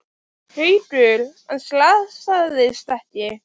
Haukur: En slasaðist ekki?